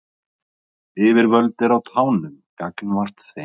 Yfirvöld eru á tánum gagnvart þeim